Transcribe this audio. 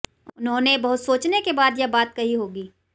उन्होंने बहुत सोचने के बाद यह बात कही होगी